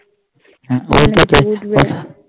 হু